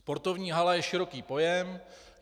Sportovní hala je široký pojem.